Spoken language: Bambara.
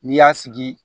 N'i y'a sigi